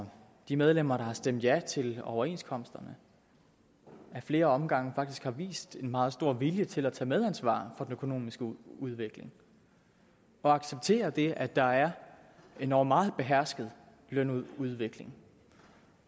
og de medlemmer der har stemt ja til overenskomsterne ad flere omgange faktisk har vist en meget stor vilje til at tage medansvar for den økonomiske udvikling og acceptere det at der er en endog meget behersket lønudvikling